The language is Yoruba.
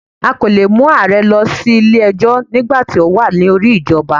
A kò leè mu ààrẹ lọ sí Ilé ẹjọ́ nígbàti o wa lórí ìjọba